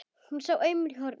Hún sá aumur á honum.